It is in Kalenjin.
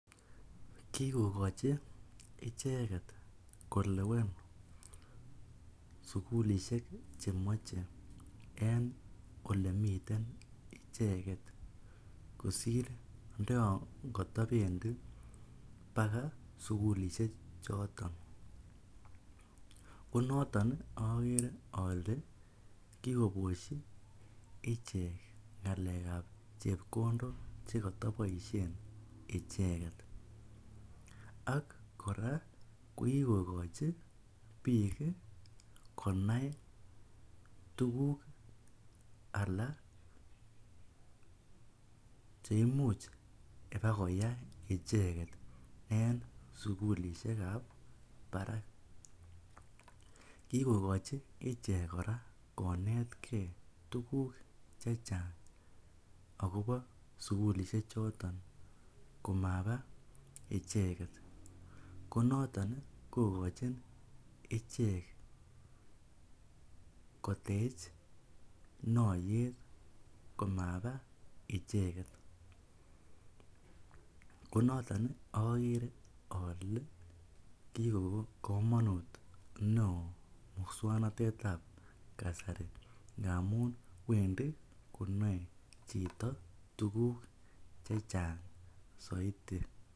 Kikokochi icheket kolewen sukulishek chemoche en olemiten icheket kosir ndoyon kotobendi sukulishek choton, konoton okere olee kikoboshi ichek ngalekab chepkondok chekotoboishen icheket ak kora ko kikokochi biik konai tukuk alak cheimuch ibakoyai icheket en sukulishekab barak, kikokochi ichek kora konetke tukuk chechang akobo sukulishe choton komaba icheket, konoton kokochin ichek kotech noyet komaba icheket konoton okere olee kikoik komonut neoo muswoknotetab kasari ngamun wendi konoe chito tukuk chechang soiti.